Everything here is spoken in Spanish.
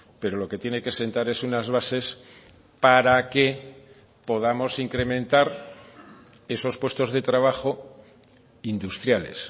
pero lo que tiene que sentar es unas bases para que podamos incrementar esos puestos de trabajo industriales